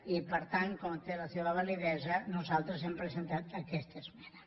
i per tant com té la seva validesa nosaltres hem presentat aquesta esmena